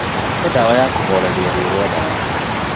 Hè ndawa ya kũhoreria rũo rwa nda yakwa.